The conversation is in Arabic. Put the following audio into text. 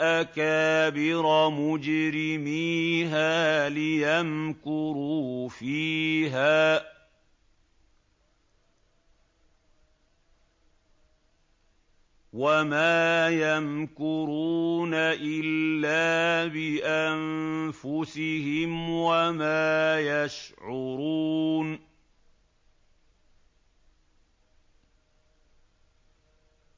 أَكَابِرَ مُجْرِمِيهَا لِيَمْكُرُوا فِيهَا ۖ وَمَا يَمْكُرُونَ إِلَّا بِأَنفُسِهِمْ وَمَا يَشْعُرُونَ